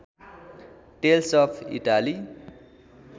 tells of Italy